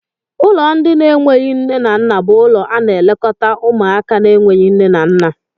Ụlọ ndị na enweghị nne na nna bú ụlọ ana elekota ụmụaka na enweghị nne na nna.